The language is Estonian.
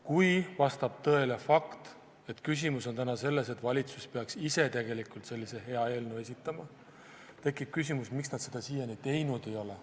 Kui vastab tõele fakt, et küsimus on täna selles, et valitsus peaks ise tegelikult sellise hea eelnõu esitama, siis tekib küsimus, miks nad seda siiani teinud ei ole.